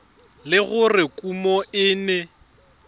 le gore kumo e ne